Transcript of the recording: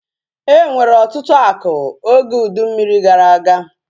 E nwere ọtụtụ akụ oge ụdị mmiri gara aga